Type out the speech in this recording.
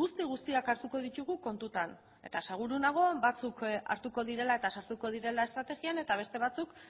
guzti guztiak hartuko ditugu kontutan eta seguru nago batzuk hartuko direla eta sartuko direla estrategian eta beste batzuk